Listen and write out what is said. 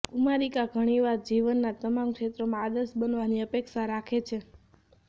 કુમારિકા ઘણીવાર જીવનના તમામ ક્ષેત્રોમાં આદર્શ બનવાની અપેક્ષા રાખે છે